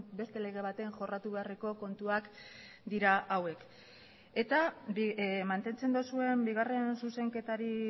beste lege baten jorratu beharreko kontuak dira hauek eta mantentzen duzuen bigarren zuzenketari